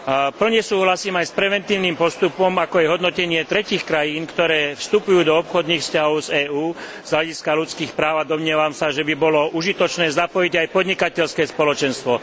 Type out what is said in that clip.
V plnej miere súhlasím aj s preventívnym postupom, ako je hodnotenie tretích krajín, ktoré vstupujú do obchodných vzťahov s EÚ, z hľadiska ľudských práv, a domnievam sa, že by bolo užitočné zapojiť aj podnikateľské spoločenstvo.